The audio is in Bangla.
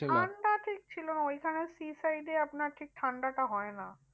ঠান্ডা ঠিক ছিলনা ওইখানে sea side এ আপনার ঠিক ঠান্ডাটা হয় না।